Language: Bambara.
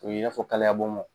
O i b'a fɔ kaliyabonbon